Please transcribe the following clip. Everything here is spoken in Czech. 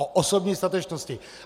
O osobní statečnosti.